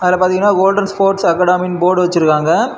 அதுல பாதீங்கன்னா golden sports academy இன் போர்டு வச்சிருக்கிறாங்க.